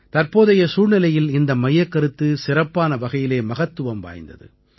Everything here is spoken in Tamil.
தற்போதைய சூழ்நிலையில் இந்த மையக்கருத்து சிறப்பான வகையிலே மகத்துவம் வாய்ந்தது